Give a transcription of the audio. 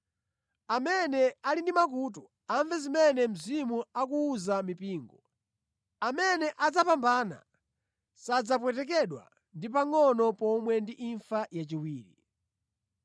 Amene ali ndi makutu, amve zimene Mzimu akuwuza mipingo. Amene adzapambana sadzapwetekedwa ndi pangʼono pomwe ndi imfa yachiwiri.